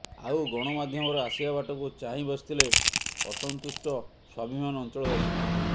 ଆଉ ଗଣମାଧ୍ୟମର ଆସିବା ବାଟକୁ ଚାହିଁ ବସିଥିଲେ ଅସନ୍ତୁଷ୍ଟ ସ୍ୱାଭିମାନ ଅଂଚଳବାସୀ